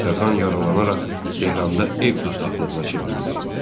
Səttarxan yaralanaraq Tehranda ev dustaqlığına çevrildi.